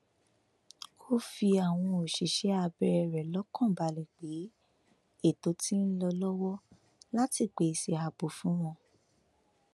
ó fi àwọn òṣìṣẹ abẹ rẹ lọkàn balẹ pé ètò ti ń lọ lọwọ láti pèsè ààbò fún wọn